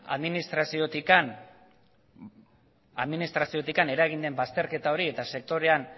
administraziotik eragin den bazterketa hori eta sektorean